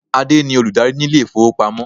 Adé ni olùdarí ni ilé ifowopamo.